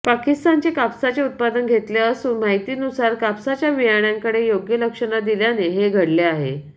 पाकिस्तानचे कापसाचे उत्पादन घेतले असून माहितीनुसार कापसाच्या बियाण्याकडे योग्य लक्ष न दिल्याने हे घडले आहे